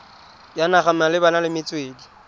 ya naga malebana le metswedi